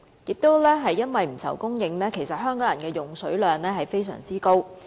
正因為不愁供應，香港人的用水量非常高。